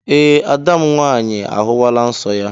Ee, ada m nwaanyị ahụwala nsọ ya